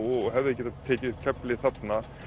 og hefðu getað tekið upp keflið þarna